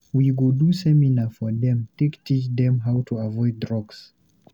We go do seminar for dem take teach dem how to avoid drugs.